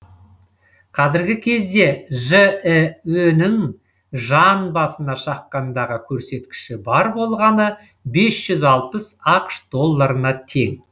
қазіргі кезде жіө нің жан басына шаққандағы көрсеткіші бар болғаны бес жүз алпыс ақш долларына тең